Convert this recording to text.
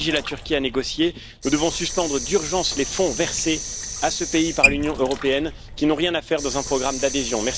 Pour obliger la Turquie à négocier, nous devons suspendre d'urgence les fonds versés à ce pays par l'Union européenne, qui n'ont rien à faire dans un programme d'adhésion.